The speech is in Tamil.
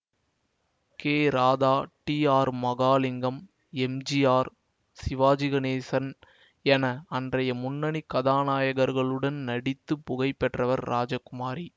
K Radha T R Mahalingam M G R Sivaji Ganesan என அன்றைய முன்னணி கதாநாயகர்களுடன் நடித்து புகழ் பெற்றவர் ராஜகுமாரி